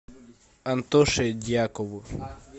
антоше дьякову